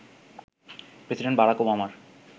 president Barack ওবামার